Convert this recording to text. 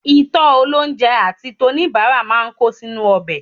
Ìtọ́ olóunjẹ àti toníbàárà máa ń kó sínú ọbẹ̀